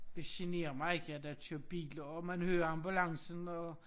Det generer mig ikke at der kører biler og man hører ambulancen og